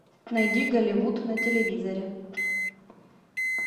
найди голливуд на телевизоре